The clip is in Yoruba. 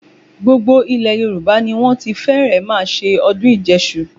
Gbogbo ilẹ̀ Yorùbá ni wọ́n ti fẹ́rẹ̀ẹ́ máa ṣe ọdún ìjẹṣu.